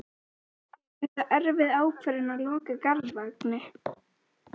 Magnús Hlynur Hreiðarsson: Er þetta erfið ákvörðun að loka Garðvangi?